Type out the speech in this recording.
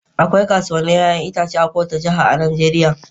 Akwai kasuwannin 'ya'yan itace a kowace Jiha a Najeriya.